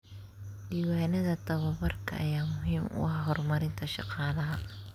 Diiwaanada tababarka ayaa muhiim u ah horumarinta shaqaalaha.